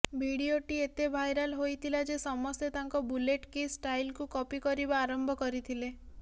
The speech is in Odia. ଭିଡିଓଟି ଏତେ ଭାଇରାଲ୍ ହୋଇଥିଲା ଯେ ସମସ୍ତେ ତାଙ୍କ ବୁଲେଟ୍ କିସ୍ ଷ୍ଟାଇଲ୍କୁ କପି କରିବା ଆରମ୍ଭ କରିଥିଲେ